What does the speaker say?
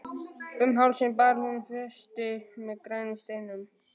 Um hálsinn bar hún festi með grænum steinum.